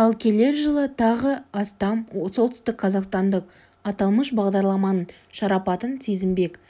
ал келер жылы тағы астам солтүстікқазақстандық аталмыш бағдарламаның шарапатын сезінбек